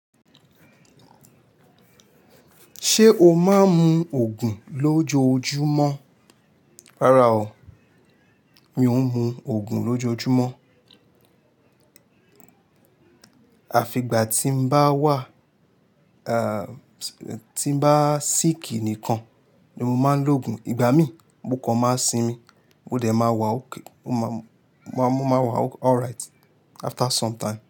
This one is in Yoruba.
Ṣé o máa ń mu Ògùn lójoojúmọ́? Rárá o, mi ò ń mu Ògùn lójoojúmọ́. Àfi ìgbà tí n bá wà, ah, tí bá sìkì nìkan ni mo máa ń lo ògùn. Ìgbà mí, mo kọ máa sinmi, ó dẹ̀ máa wà okay, mo máa, mo máa wà alright after some time.